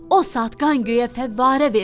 O saat qan göyə fəvvarə verdi.